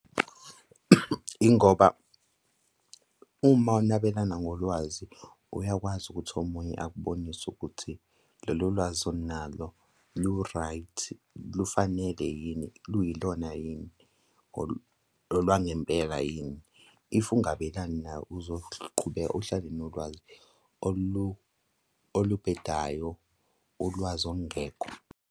Yingoba uma unabelana ngolwazi, uyakwazi ukuthi omunye akubonise ukuthi lolo lwazi onalo lu-right, lufanele yini? Luyilona yini? Olwangempela yini? If ungabelani nalo uzoqhubeka uhlale nolwazi olubhedayo, ulwazi olungekho.